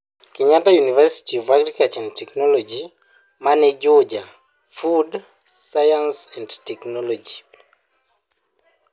Kenyatta University of Agriculture and Technology mani Juja (Food Science and Technology).